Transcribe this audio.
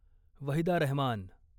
Waheeda Rahman